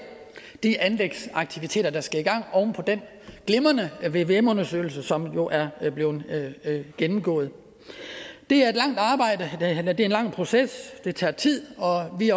de anlægsaktiviteter der skal i gang oven på den glimrende vvm undersøgelse som jo er blevet gennemgået det er en lang proces det tager tid og vi